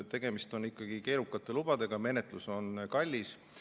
Tegemist on ikkagi keerukate lubadega, menetlus on kallis.